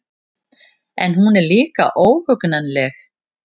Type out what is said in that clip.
En hún er líka óhugnanleg.